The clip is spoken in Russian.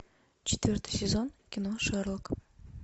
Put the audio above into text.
четвертый сезон кино шерлок